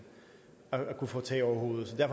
jeg